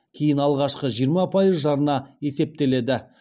кейін алғашқы жиырма пайыз жарна есептеледі